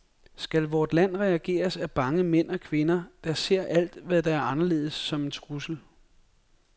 Skal vort land regeres af bange mænd og kvinder, der ser alt, hvad der er anderledes som en trussel?